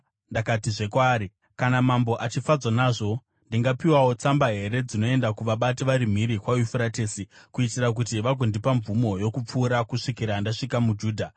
Ndakatizve kwaari, “Kana mambo achifadzwa nazvo, ndingapiwawo tsamba here dzinoenda kuvabati vari mhiri kwaYufuratesi, kuitira kuti vagondipa mvumo yokupfuura kusvikira ndasvika muJudha?